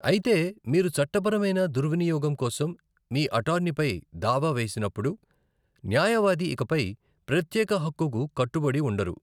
అయితే, మీరు చట్టపరమైన దుర్వినియోగం కోసం మీ అటార్నీపై దావా వేసినప్పుడు, న్యాయవాది ఇకపై ప్రత్యేక హక్కుకు కట్టుబడి ఉండరు.